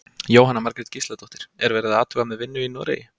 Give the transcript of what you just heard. Jóhanna Margrét Gísladóttir: Er verið að athuga með vinnu í Noregi?